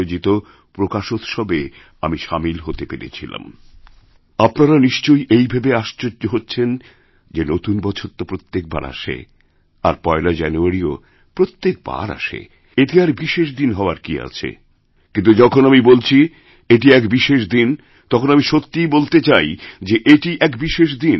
আপনারনিশ্চয়ই এই ভেবে আশ্চর্য হচ্ছেন যে নতুন বছর তো প্রত্যেকবার আসে আর পয়লাজানুয়ারিও প্রত্যেকবার আসে এতে আর বিশেষ দিন হওয়ার কী আছে কিন্তু যখন আমি বলছিএটি এক বিশেষ দিন তখন আমি সত্যিই বলতে চাই যে এটি এক বিশেষ দিন